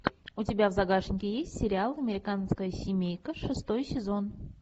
у тебя в загашнике есть сериал американская семейка шестой сезон